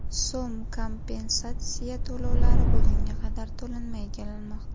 so‘m kompensatsiya to‘lovlari bugunga qadar to‘lanmay kelinmoqda.